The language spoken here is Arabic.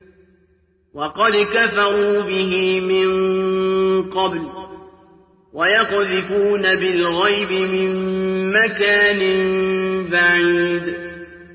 وَقَدْ كَفَرُوا بِهِ مِن قَبْلُ ۖ وَيَقْذِفُونَ بِالْغَيْبِ مِن مَّكَانٍ بَعِيدٍ